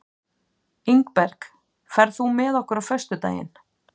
Ingberg, ferð þú með okkur á föstudaginn?